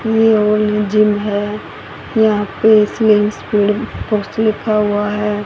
ये old gym हैं यहाँ पे स्लिम स्पिल पॉस लिखा हुआ हैं।